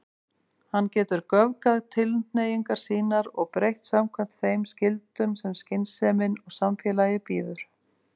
Hann getur göfgað tilhneigingar sínar og breytt samkvæmt þeim skyldum sem skynsemin og samfélagið býður.